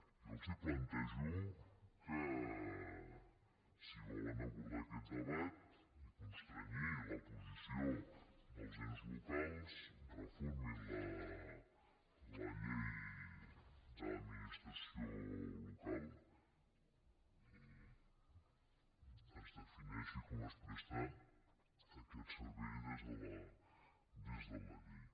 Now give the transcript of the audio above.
jo els plantejo que si volen abordar aquest debat i constrènyer la posició dels ens locals reformin la llei de l’administració local i defineixin com es presta aquest servei des de la llei